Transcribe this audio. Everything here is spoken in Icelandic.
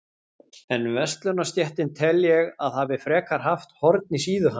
En verslunarstéttin tel ég, að hafi frekar haft horn í síðu hans.